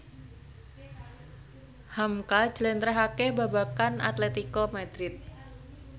hamka njlentrehake babagan Atletico Madrid